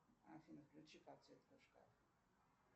афина включи подсветку шкафа